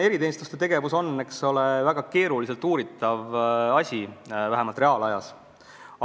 Eriteenistuste tegevus on väga keeruliselt uuritav asi, vähemalt reaalajas.